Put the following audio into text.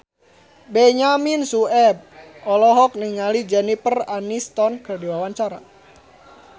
Benyamin Sueb olohok ningali Jennifer Aniston keur diwawancara